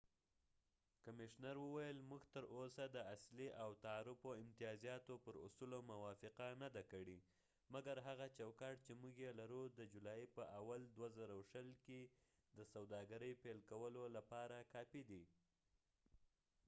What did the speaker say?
کمشنر وویل، موږ تراوسه د اصلي او تعرفو امتیازاتو پر اصولو موافقه نه ده کړې، مګر هغه چوکاټ چې موږ یې لرو د جولای په 1، ۲۰۲۰ کې د سوداګرۍ پیل کولو لپاره کافي دي